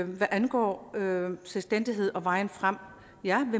hvad angår selvstændighed og vejen frem